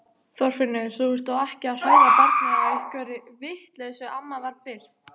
Þorfinnur, þú ert þó ekki að hræða barnið á einhverri vitleysu amma var byrst.